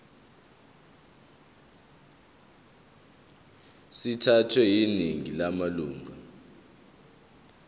sithathwe yiningi lamalunga